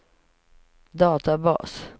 databas